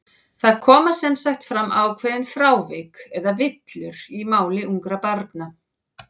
Það koma sem sagt fram ákveðin frávik, eða villur, í máli ungra barna.